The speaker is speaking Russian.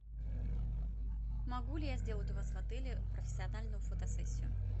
могу ли я сделать у вас в отеле профессиональную фотосессию